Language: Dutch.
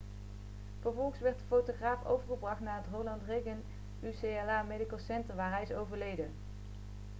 vervolgens werd de fotograaf overgebracht naar het ronald reagan ucla medical center waar hij is overleden